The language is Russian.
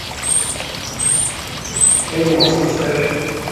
энималс поставь